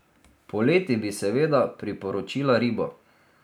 Poleti bi seveda priporočila ribo.